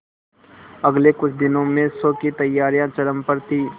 अगले कुछ दिनों में शो की तैयारियां चरम पर थी